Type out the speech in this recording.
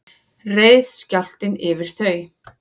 reið skjálftinn yfir þau